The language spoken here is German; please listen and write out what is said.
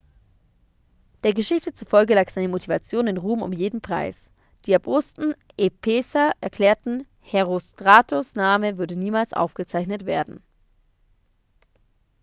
der geschichte zufolge lag seine motivation in ruhm um jeden preis die erbosten epheser erklärten herostratos' name würde niemals aufgezeichnet werden